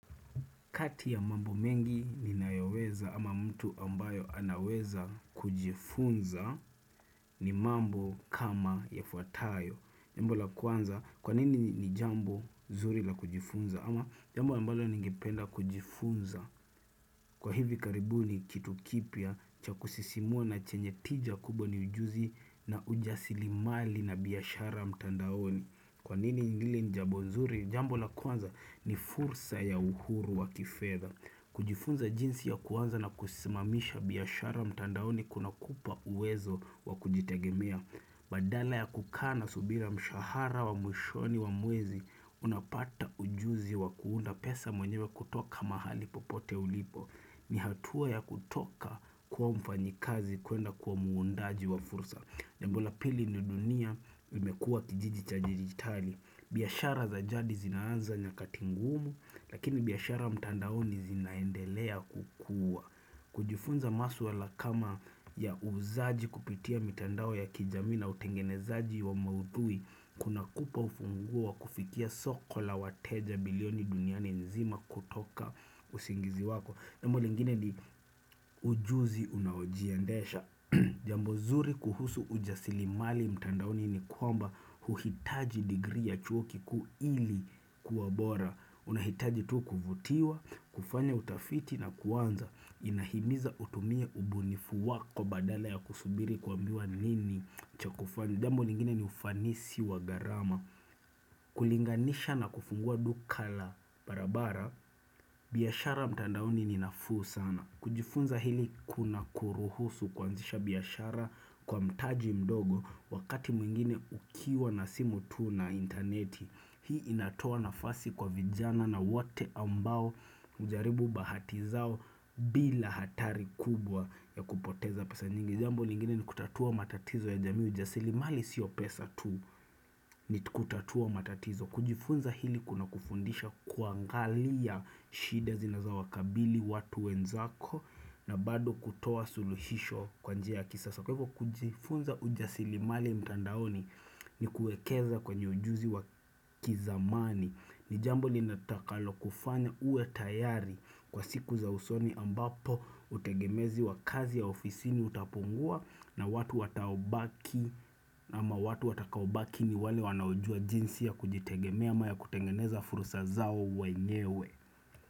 Kati ya mambo mengi ninayoweza ama mtu ambayo anaweza kujifunza ni mambo kama yafuatayo. Jambo la kwanza kwanini ni jambo zuri la kujifunza ama jambo ambalo ningependa kujifunza kwa hivi karibuni kitu kipya cha kusisimua na chenye tija kubwa ni ujuzi na ujasirimali na biashara mtandaoni. Kwanini hili ni jambo zuri jambo la kwanza ni fursa ya uhuru wa kifedha. Kujifunza jinsi ya kuanza na kusimamisha biashara mtandaoni kunakupa uwezo wa kujitegemea. Badala ya kukaa na subira mshahara wa mwishoni wa mwezi, unapata ujuzi wa kuunda pesa mwenyewe kutoka mahali popote ulipo. Ni hatua ya kutoka kuwa mfanyikazi kwenda kuwa muundaji wa fursa. Jambo la pili ni dunia imekuwa kijiji cha dijitali, biashara za jadi zinaanza nyakati ngumu, lakini biashara mtandaoni zinaendelea kukua. Kujifunza masuala kama ya uuzaji kupitia mitandao ya kijamii na utengenezaji wa maudhui, kunakupa ufunguo wa kufikia soko la wateja bilioni duniani nzima kutoka usingizi wako. Jambo lingine ni ujuzi unaojiendesha Jambo zuri kuhusu ujasirimali mtandaoni ni kwamba hauhitaji degree ya chuo kikuu ili kuwa bora unahitaji tu kuvutiwa, kufanya utafiti na kuanza inahimiza utumie ubunifu wako badala ya kusubiri kuambiwa nini cha Jambo lingine ni ufanisi wa gharama kulinganisha na kufungua duka la barabara biashara mtandaoni ni nafuu sana kujifunza hili kunakuruhusu kuanzisha biashara kwa mtaji mdogo wakati mwingine ukiwa na simu tu na intaneti, hii inatoa nafasi kwa vijana na wate ambao hujaribu bahati zao bila hatari kubwa ya kupoteza pesa nyingi. Jambo lingine ni kutatua matatizo ya jamii ujasirimali sio pesa tu ni kutatua matatizo. Kujifunza hili kunakufundisha kuangalia shida zinazawakabidhi watu wenzako na bado kutoa suluhisho kwa njia ya kisasa. Kwa hivyo kujifunza ujasirimali mtandaoni ni kuekeza kwenye ujuzi wa kizamani. Ni jambo litakalokufanya uwe tayari kwa siku za usoni ambapo utegemezi wa kazi ya ofisini utapungua. Na watu watakaobaki ni wale wanaoujua jinsi ya kujitegemea ama ya kutengeneza fursa zao wenyewe.